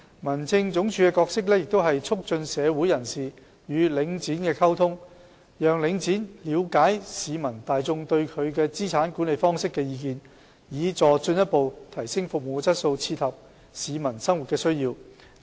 民政總署的角色是促進社會人士與領展的溝通，讓領展了解市民大眾對其資產管理方式的意見，以助進一步提升服務的質素，切合市民生活的需要。